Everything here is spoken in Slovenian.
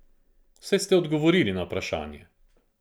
Saj ste odgovorili na vprašanje.